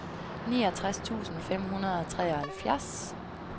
niogtres tusind fem hundrede og treoghalvfjerds